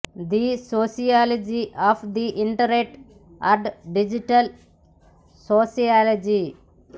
the sociology of the internet and digital sociology